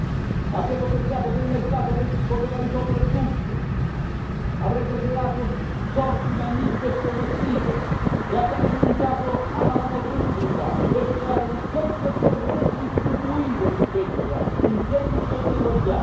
Abbiamo pensato che il mercato poteva risolvere tutto, avrebbe creato sorti magnifiche e progressive e abbiamo rinunciato alla mano pubblica per creare ricchezza e per redistribuire ricchezza in senso di eguaglianza.